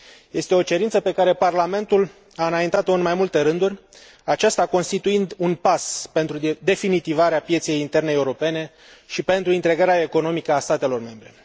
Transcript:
Este o cerință pe care Parlamentul a înaintat o în mai multe rânduri, aceasta constituind un pas pentru definitivarea pieței interne europene și pentru integrarea economică a statelor membre.